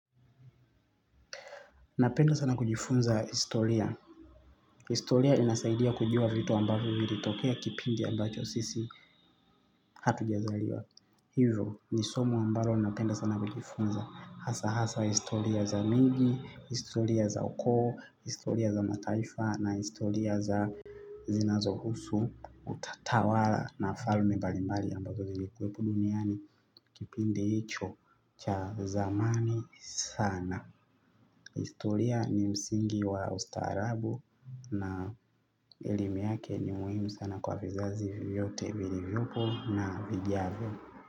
Napenda sana kujifunza historia. Historia inasaidia kujua vitu ambavyo zilitokea kipindi ambacho sisi hatu jazaliwa. Hivo ni somo ambalo napenda sana likifunzwa hasa hasa historia za miji historia za ukoo, historia za mataifa na historia zinazohusu utawala na falme mbali mbali ambazo zilikuwepo duniani kipindi hicho cha zamani sana. Historia ni msingi wa ustarabu na elimi yake ni muhimu sana kwa vizazi vyote vilivyopo na vijazo.